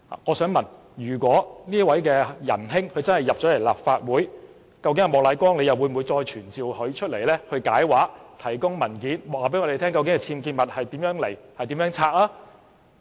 我想問，如果這位仁兄能進入立法會，究竟莫乃光議員會否要求傳召他解釋，提供文件，告訴我們究竟其僭建物從何而來、如何清拆？